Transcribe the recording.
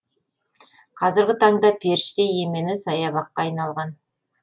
қазіргі таңда періште емені саябаққа айналған